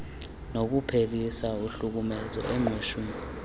nokuphelisa uhlukumezo engqeshwen